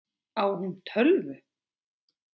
Á hún tölvu?